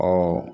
Ɔ